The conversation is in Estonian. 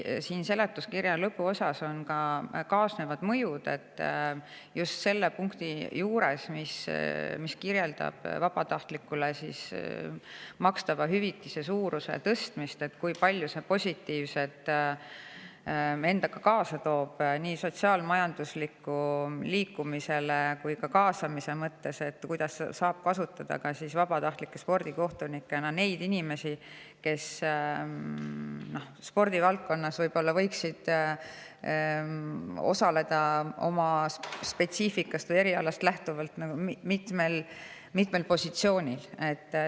Seletuskirja lõpuosas on selle punkti juures, mis vabatahtlikule makstava hüvitise tõstmist, toodud ka kaasnevad mõjud, kui palju positiivset see endaga kaasa toob nii sotsiaalselt ja majanduslikult kui ka liikumise ja kaasamise mõttes, kuidas saab kasutada vabatahtlike spordikohtunikena neid inimesi, kes spordivaldkonnas võiksid osaleda oma spetsiifikast või erialast lähtuvalt mitmel positsioonil.